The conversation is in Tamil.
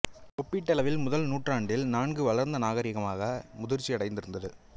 ஒப்பீட்டளவில் முதல் நூற்றாண்டில் நன்கு வளர்ந்த நாகரிகமாக முதிர்ச்சியடைந்து இருந்தது